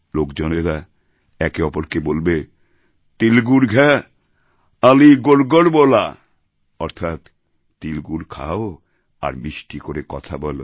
লোকজনেরা একে অপরকে বলবে তিল গুড় ঘ্যা আণি গোড় গোড় বোলা অর্থাৎ তিলগুড় খাও আর মিষ্টি করে কথা বলো